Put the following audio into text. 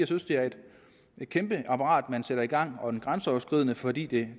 synes det er et kæmpe apparat man sætter i gang og det grænseoverskridende fordi det